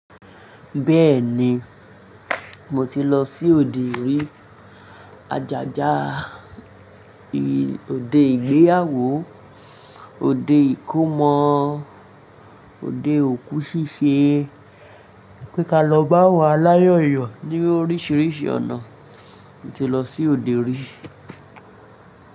Bẹ́ẹ̀ni, mo ti lọ sí òde orí, àjàjà, òde ìgbéyàwó, òde ìkómọ, òde òkú ṣíṣe. Pé ka lọ bá wà láyòyọ̀ ní oríṣiríṣi ọ̀nà. Mo ti lọ sí òde orí.